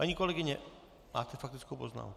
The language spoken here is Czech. Paní kolegyně, máte faktickou poznámku.